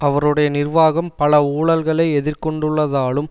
அவருடைய நிர்வாகம் பல ஊழல்களை எதிர்கொண்டுள்ளதாலும்